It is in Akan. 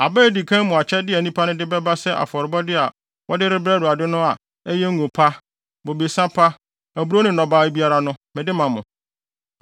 “Aba a edi kan mu akyɛde a nnipa no de bɛba sɛ afɔrebɔde a wɔde rebrɛ Awurade no a ɛyɛ ngo pa, bobesa pa, aburow ne nnɔbae biara no, mede ma mo.